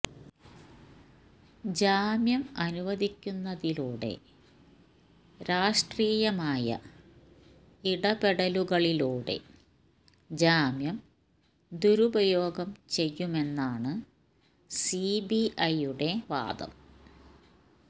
ജാമ്യം അനുവദിക്കുന്നതിലൂടെ രാഷ്ട്രീയമായ ഇടപെടലുകളിലൂടെ ജാമ്യം ദുരുപയോഗം ചെയ്യുമെന്നാണ് സിബിഐയുടെ വാദം